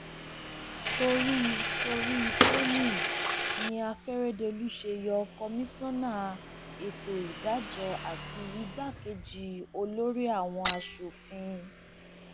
torí torí tèmi ni àkẹrẹdọkù ṣe yọ kọmíṣánná ètò ìdájọ àti igbákejì olórí àwọn asòfin